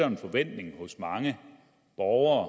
en forventning hos mange borgere og